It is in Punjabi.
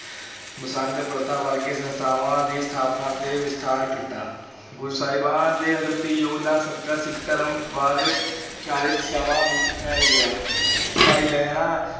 ਮਸੰਦ ਪ੍ਰਥਾ ਵਰਗੀਆਂ ਸੰਸਥਾਵਾਂ ਦੀ ਸਥਾਪਨਾ ਅਤੇ ਵਿਸਥਾਰ ਕੀਤਾ, ਗੁਰੂ ਸਹਿਬਾਨ ਦੇ ਅਦੁੱਤੀ ਯੋਗਦਾਨ ਸਦਕਾ ਸਿੱਖ ਧਰਮ ਬਾਰੇ ਚਾਰੇ ਦਿਸ਼ਾਵਾਂ ਵਿੱਚ ਫੈਲ ਗਿਆ ਭਾਈ ਲਹਿਣਾ